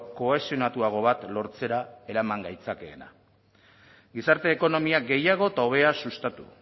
kohesionatuago bat lortzera eraman gaitzakeena gizarte ekonomia gehiago eta hobea sustatu